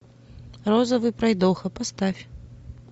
розовый пройдоха поставь